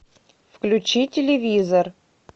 включи телевизор